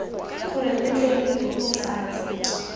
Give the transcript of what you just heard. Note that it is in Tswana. gore re tle re bebofatse